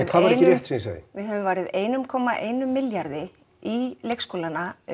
hvað var ekki rétt sem ég sagði við höfum varið einum komma einum milljarði í leikskólana